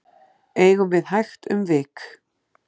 eigum við hægt um vik